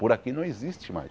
Por aqui não existe mais.